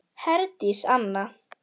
Herdís Anna.